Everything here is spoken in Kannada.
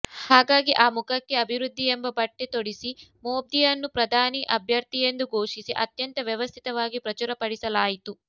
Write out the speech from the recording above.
ಹಾಗಾಗಿ ಆ ಮುಖಕ್ಕೆ ಅಭಿವೃದ್ಧಿ ಎಂಬ ಬಟ್ಟೆ ತೊಡಿಸಿ ಮೋದಿಯನ್ನು ಪ್ರಧಾನಿ ಅಭ್ಯರ್ಥಿ ಎಂದು ಘೋಷಿಸಿ ಅತ್ಯಂತ ವ್ಯವಸ್ಥಿತವಾಗಿ ಪ್ರಚುರಪಡಿಸಲಾಯಿತು